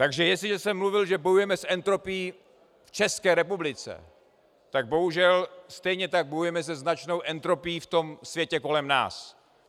Takže jestliže jsem mluvil, že bojujeme s entropií v České republice, tak bohužel stejně tak bojujeme se značnou entropií v tom světě kolem nás.